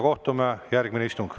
Kohtume järgmisel istungil.